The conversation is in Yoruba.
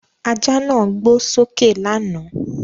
Ajá náà gbó sókè lánàá.